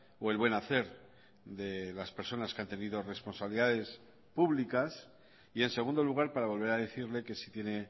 o el buen hacer de las personas que han tenido responsabilidades públicas y en segundo lugar para volver a decirle que si tiene